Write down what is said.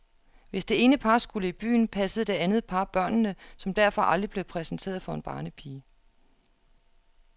Hvis det ene par skulle i byen, passede det andet par børnene, som derfor aldrig blev præsenteret for en barnepige.